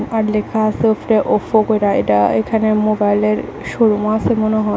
আর লেখা আছে ওফরে ওফো এখানে মোবাইলের শো রুম আছে মনে হয়।